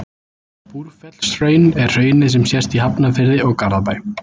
Búrfellshraun er hraunið sem sést í Hafnarfirði og Garðabæ.